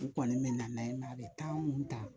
U kɔni bɛ nan'a ye nka a bɛ mun ta